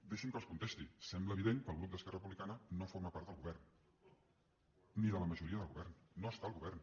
deixin me que els contesti sembla evident que el grup d’esquerra republicana no forma part del govern ni de la majoria del govern no està al govern